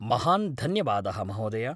महान् धन्यवादः, महोदय।